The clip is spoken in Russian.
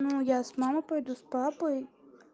я с мамой пойду с папой